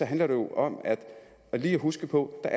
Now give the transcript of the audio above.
handler det om lige at huske på at